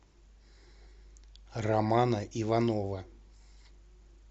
романа иванова